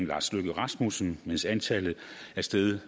lars løkke rasmussens mens antallet er steget